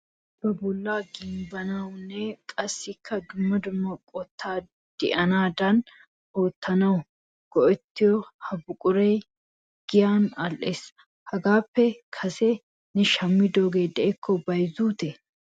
Asay ba bolla gimbbanawunne qassikka dumma dumma qottay de'anadan oottanaw go"ettiyo ha buquray giyan all"ees. Hagappe kase ne shammidooge de"ikko bayzzute?